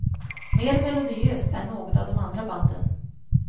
Mer melodiöst än något av de andra banden.